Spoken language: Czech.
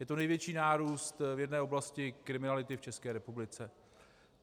Je to největší nárůst v jedné oblasti kriminality v České republice.